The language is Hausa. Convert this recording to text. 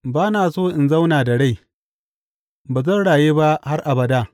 Ba na so in zauna da rai; ba zan rayu ba har abada.